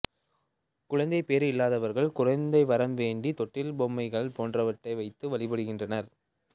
குழந்தைப் பேறு இல்லாதவர்கள் குழந்தை வரம் வேண்டி தொட்டிகள் பொம்மைகள் போன்றவற்றை வைத்து வழிபடுகின்றனர்